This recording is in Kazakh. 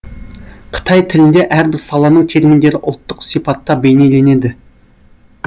қытай тілінде әрбір саланың терминдері ұлттық сипатта бейнеленеді